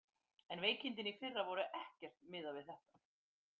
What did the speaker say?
En veikindin í fyrra voru ekkert miðað við þetta.